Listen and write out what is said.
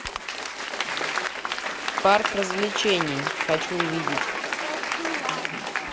парк развлечений хочу увидеть